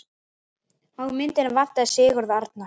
Á myndina vantar Sigurð Arnar.